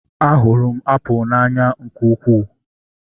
A hụrụ m apụl n'anya nke ukwuu